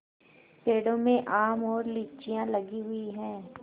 पेड़ों में आम और लीचियाँ लगी हुई हैं